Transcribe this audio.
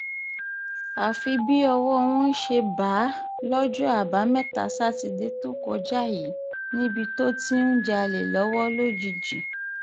àfi bí ọwọ́ wọn ṣe bá a lọ́jọ́ àbámẹ́ta sátidé tó kọjá yìí níbi tó ti ń jalè lọ́wọ́ lọ́gíjì